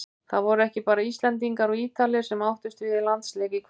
Það voru ekki bara Íslendingar og Ítalir sem áttust við í landsleik í kvöld.